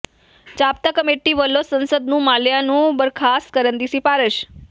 ਜ਼ਾਬਤਾ committee ਵੱਲੋਂ ਸੰਸਦ ਨੂੰ ਮਾਲਿਆ ਨੂੰ ਬਰਖਾਸਤ ਕਰਨ ਦੀ ਸਿਫਾਰਸ਼